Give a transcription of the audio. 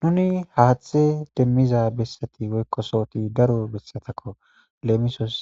nuni haaththe demmiza bessati woykko sohoti daro bessatakko leemisos